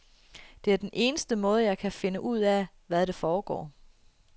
Det er den eneste måde, jeg kan finde ud af, hvad der foregår.